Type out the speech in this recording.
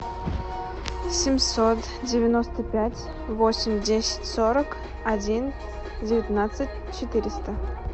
семьсот девяносто пять восемь десять сорок один девятнадцать четыреста